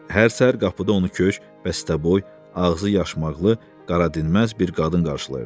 Hər səhər qapıda onu kök, bəstəboy, ağzı yaşmaqqlı, qara dinməz bir qadın qarşılayırdı.